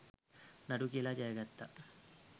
නඩු කියලා ජය ගත්තා.